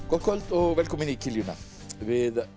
gott kvöld og velkomin í kiljuna við